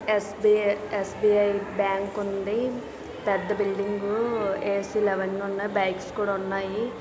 SBI SBI bank ఉంది పెద్ద building AC లు అవన్నీ ఉన్నాయి బైక్స్ కూడా ఉన్నాయి.